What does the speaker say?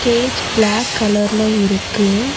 Stage black கலர்ல இருக்கு.